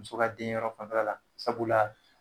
Muso ka den yɔrɔ fanfɛla la sabula